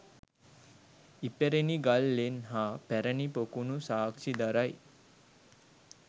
ඉපැරණි ගල් ලෙන් හා පැරැණි පොකුණු සාක්‍ෂි දරයි